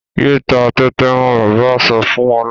Yéé ta tẹ́tẹ́ mọ́! Bàbá sọ fún Ọlá.